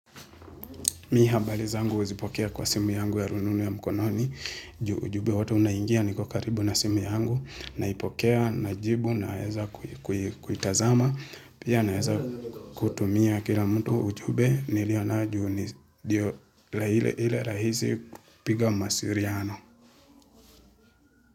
Mimi habari zangu huzipokea kwa simu yangu ya rununu ya mkononi, ju hujube wote unaingia niko karibu na simu yangu, naipokea, najibu, naeza kuitazama, pia naeza kutumia kila mtu ujube, nilionao ju ndio nji ile rahisi kipiga mawasiliano.